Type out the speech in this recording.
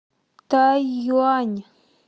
тайюань